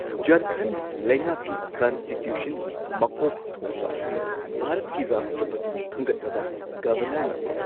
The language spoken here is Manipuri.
ꯓꯥꯔꯈꯟꯗ ꯂꯩꯉꯥꯛꯀꯤ ꯀꯟꯁꯇꯤꯇ꯭ꯌꯨꯁꯟꯒꯤ ꯒꯤ ꯃꯀꯣꯛ ꯊꯣꯡꯕ ꯑꯁꯤ ꯚꯥꯔꯠꯀꯤ ꯔꯥꯁꯇ꯭ꯔꯄꯇꯤꯅ ꯈꯟꯒꯠꯂꯕ ꯒꯚꯅꯔꯅ ꯑꯣꯏ꯫